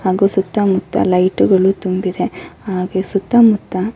ಹಾಗು ಸುತ್ತ ಮುತ್ತ ಲೈಟ್ ಗಳು ತುಂಬಿದೆ ಹಾಗೆ ಸುತ್ತ ಮುತ್ತ--